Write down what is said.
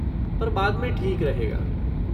पर बाद में ठीक रहेगा।